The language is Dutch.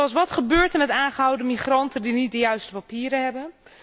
Zoals Wat gebeurt er met de aangehouden migranten die niet de juiste papieren hebben?